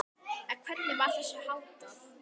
En hvernig var þessu háttað?